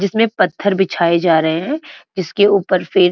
जिसमें पत्थर बिछाए जा रहे हैं जिसके ऊपर फिर --